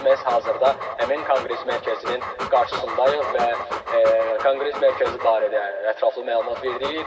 Elə biz məhz hazırda həmin Konqres Mərkəzinin qarşısındayıq və Konqres Mərkəzi barədə ətraflı məlumat verdik.